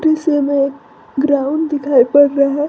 इस में ग्राउंड दिखाई पड़ रहा है।